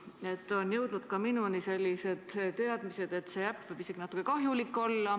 Minuni on jõudnud selline teave, et see äpp võib isegi natukene kahjulik olla.